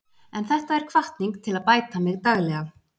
En þetta er hvatning til að bæta mig daglega.